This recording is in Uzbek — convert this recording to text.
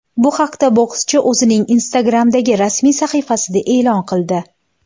Bu haqda bokschi o‘zining Instagram’dagi rasmiy sahifasida e’lon qildi .